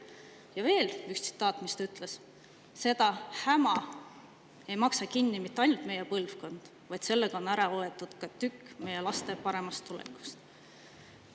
Ja veel üks tema tsitaat: "Seda häma ei maksa kinni mitte ainult meie põlvkond, vaid sellega on ära võetud ka tükk meie laste paremast tulevikust.